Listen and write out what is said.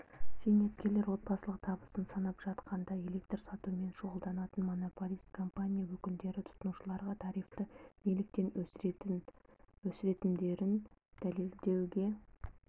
зейнеткерлер отбасылық табысын санап жатқанда электр сатумен шұғылданатын монополист компания өкілдері тұтынушыларға тарифті неліктен өсіретіндерін дәлелдеуге